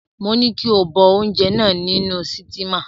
Mo ní kí o bọ oúnjẹ náà nínú sítímà.